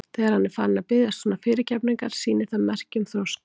Þegar hann er farinn að biðjast svona fyrirgefningar sýnir það merki um þroska.